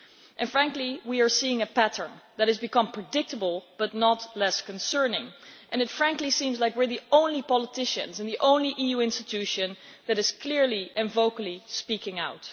And frankly, we are seeing a pattern that has become predictable but no less concerning, and it frankly seems like we are the only politicians and the only EU institution that is clearly and vocally speaking out.